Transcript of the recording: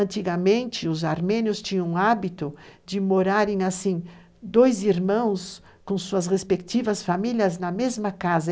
Antigamente, os armênios tinham o hábito de morarem assim, dois irmãos com suas respectivas famílias na mesma casa.